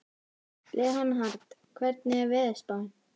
Leonhard, hvernig er veðurspáin?